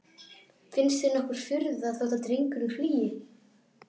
Finnst þér nokkur furða þótt drengurinn flýi?